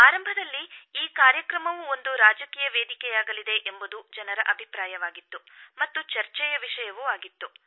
ಆರಂಭದಲ್ಲಿ ಈ ಕಾರ್ಯಕ್ರಮವೂ ಒಂದು ರಾಜಕೀಯ ವೇದಿಕೆಯಾಗಲಿದೆ ಎಂಬುದು ಜನರ ಅಭಿಪ್ರಾಯವಾಗಿತ್ತು ಮತ್ತು ಚರ್ಚೆಯ ವಿಷಯವೂ ಆಗಿತ್ತು